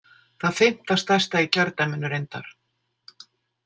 Það fimmta stærsta í kjördæminu reyndar.